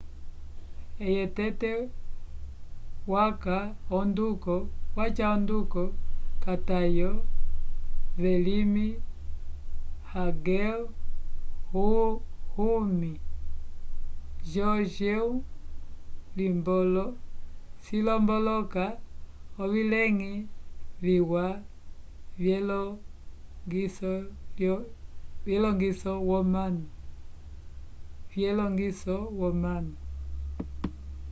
eye tete waca onduko k'atayo vyelimi hangel hunmin jeongeum cilomboloka ovileñgi viwa vyelongiso womanu